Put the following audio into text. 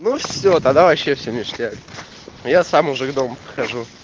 ну все тогда вообще все ништяк я сам уже к дому подхожу